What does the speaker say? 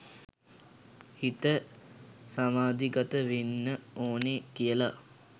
හිත සමාධිගත වෙන්න ඕනෙ කියල.